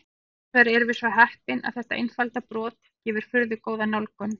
Hins vegar erum við svo heppin að þetta einfalda brot gefur furðu góða nálgun.